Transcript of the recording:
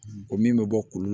Ko min bɛ bɔ kulu